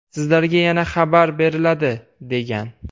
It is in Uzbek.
Sizlarga yana xabar beriladi”, degan.